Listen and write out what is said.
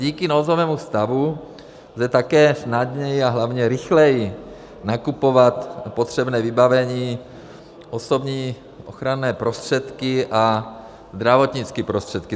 Díky nouzovému stavu lze také snadněji a hlavně rychleji nakupovat potřebné vybavení, osobní ochranné prostředky a zdravotnické prostředky.